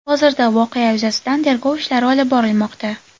Hozirda voqea yuzasidan tergov ishlari olib borilmoqda.